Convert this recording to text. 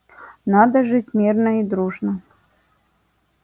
надо жить мирно и дружно